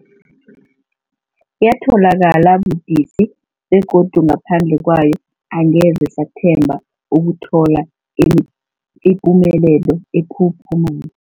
Yatholakala budisi, begodu ngaphandle kwayo angeze sathemba ukuthola i ipumelelo ephuphumako.